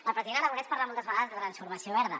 el president aragonès parla moltes vegades de transformació verda